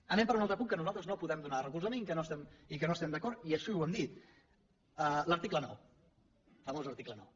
anem a un altre punt al qual nosaltres no podem donar recolzament i amb el qual no estem d’acord i així ho hem dit l’article nou el famós article nou